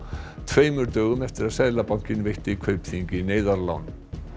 tveimur dögum eftir að Seðlabankinn veitti Kaupþingi neyðarlán